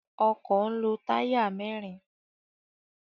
Ọkọ̀ ń lo táyà mẹ́ẹ́rin.